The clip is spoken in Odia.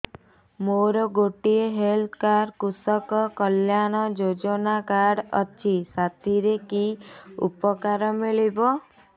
ମୋର ଗୋଟିଏ ହେଲ୍ଥ କାର୍ଡ କୃଷକ କଲ୍ୟାଣ ଯୋଜନା କାର୍ଡ ଅଛି ସାଥିରେ କି ଉପକାର ମିଳିବ